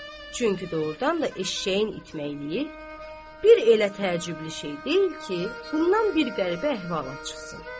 Çünki doğrudan da eşşəyin itməyi bir elə təəccüblü şey deyil ki, bundan bir qəribə əhvalat çıxsın.